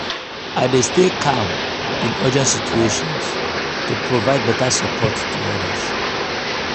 i dey stay calm in urgent situations to provide beta support to others.